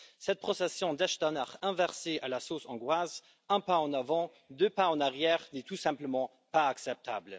Cette procession d'Echternach inversée à la sauce hongroise, un pas en avant deux pas en arrière, n'est tout simplement pas acceptable.